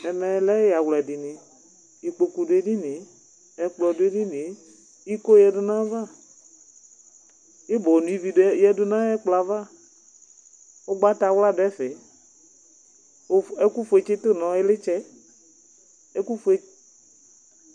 Ɛmɛ lɛ ɛyawla dini Ikpokʋ dʋ edini yɛ, ɛkplɔ dʋ edini yɛ, iko yǝdu n'ayava, ibɔ no ivi di yǝdʋ n'ay'ɛkplɔ yɛ ava Ʋgbatawla dʋ ɛfɛ, ɛkʋ fue tsitʋ nʋ iɣlitsɛ, ɛkʋ ƒue